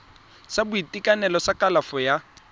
sa boitekanelo sa kalafo ya